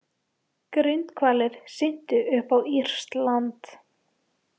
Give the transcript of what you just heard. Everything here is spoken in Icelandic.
Grindhvalir syntu upp á írskt land